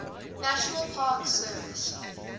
national park service